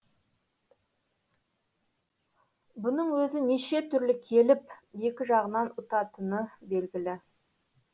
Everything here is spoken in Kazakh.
бұның өзі неше түрлі келіп екі жағынан ұтатыны белгілі